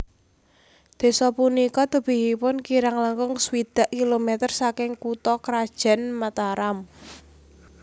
Desa punika tebihipun kirang langkung swidak kilometer saking kutha krajan Mataram